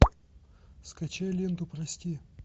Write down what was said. скачай ленту прости